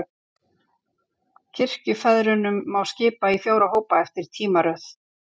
Kirkjufeðrunum má skipta í fjóra hópa, eftir tímaröð.